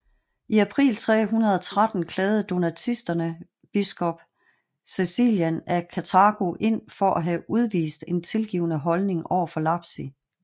I april 313 klagede donatistene biskop Caecilian af Karthago ind for at have udvist en tilgivende holdning overfor lapsi